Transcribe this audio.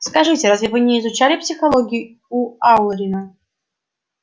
скажите разве вы не изучали психологию у алурина